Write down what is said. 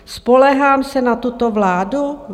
Spoléhám se na tuto vládu?